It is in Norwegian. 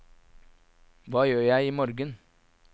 hva gjør jeg imorgen